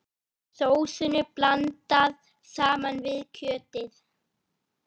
Sósunni blandað saman við kjötið.